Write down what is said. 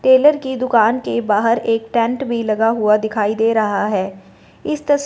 Taylor की दुकान के बाहर एक टेंट भी लगा हुआ दिखाई दे रहा है इस तस--